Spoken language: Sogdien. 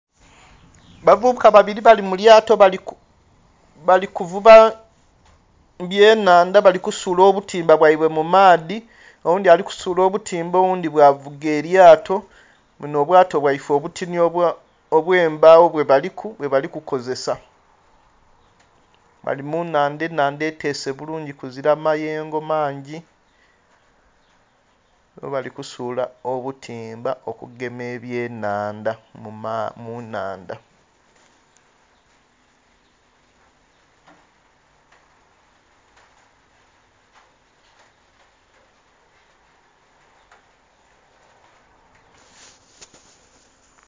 Bavubuka babiri bali mulyato bali kuvuba ebyennhandha bali kusula obutimba bwaibwe mumaadhi oghundhi ali kusula obutimba oghundhi bwavuga elyato bunho obyato bwaife obuti obwembagho bwebaliku bwebali kukozesa bali munnhandha ennhandha etese bulungi kuzira mayengo mangi bwe bali kusula obutimba okugema ebyennhandha munnhandha.